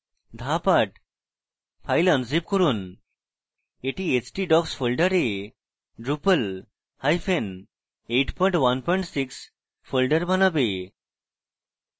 ধাপ 8: file unzip করুন এটি htdocs ফোল্ডারে rupal816 ফোল্ডার বানাবে